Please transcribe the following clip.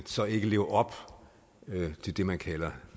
så ikke lever op til det man kalder